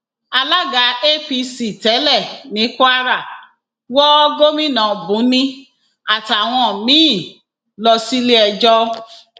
alága apc tẹlẹ ní kwara wọ gomina buni àtàwọn míín lọ síléẹjọ